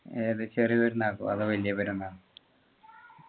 ഏത് ചെറിയ പെരുന്നാൾക്കോ അതോ വല്യ പെരുന്നാൾക്കോ